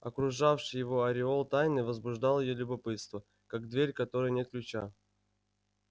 окружавший его ореол тайны возбуждал её любопытство как дверь к которой нет ключа